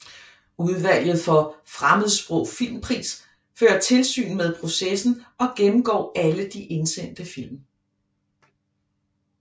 Udvalget for Fremmedsprog Filmpris fører tilsyn med processen og gennemgår alle de indsendte film